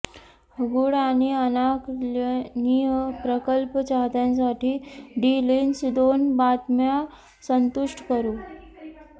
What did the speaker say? गूढ आणि अनाकलनीय प्रकल्प चाहत्यांसाठी डी लिंच दोन बातम्या संतुष्ट करू